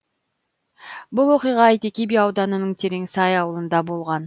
бұл оқиға әйтеке би ауданының тереңсай ауылында болған